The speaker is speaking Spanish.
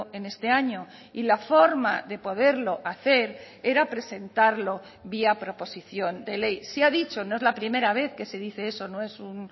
en este año y la forma de poderlo hacer era presentarlo vía proposición de ley se ha dicho no es la primera vez que se dice eso no es un